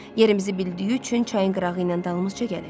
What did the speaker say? Yerimizi bildiyi üçün çayın qırağı ilə dalımızca gəlir.